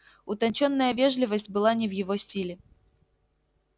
утончённая вежливость была не в его стиле